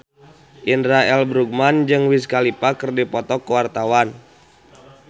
Indra L. Bruggman jeung Wiz Khalifa keur dipoto ku wartawan